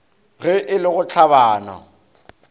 ge e le go hlabana